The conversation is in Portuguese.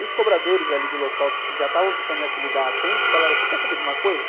E os cobradores ali do local que já estavam tentando me apelidar há tempos, falaram assim, quer saber de uma coisa?